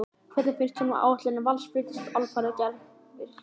Hvernig finnst honum áætlanir Vals að flytjast alfarið á gervigras?